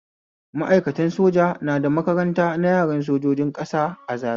Ma'aikatan soja na da makaranta na yaran sojojin ƙasa a Zariya